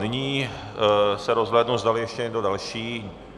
Nyní se rozhlédnu, zdali ještě někdo další.